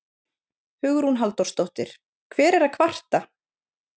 Hugrún Halldórsdóttir: Hver er að kvarta?